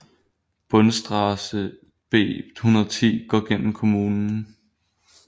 Bundesstraße B 110 går gennem kommunen